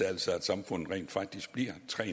altså at samfundet rent faktisk bliver tre